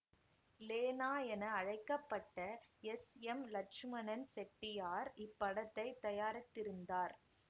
லேனா என அழைக்க பட்ட எஸ் எம் லட்சுமணன் செட்டியார் இப்படத்தைத் தயாரித்திருந்தார்